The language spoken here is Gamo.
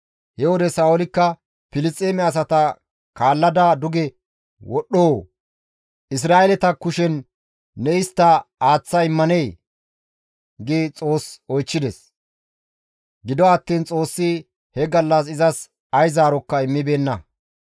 He wode Sa7oolikka, «Filisxeeme asata kaallada duge wodhdhoo? Isra7eeleta kushen ne istta aaththa immanee?» gi Xoos oychchides; gido attiin Xoossi he gallas izas ay zaarokka immibeenna.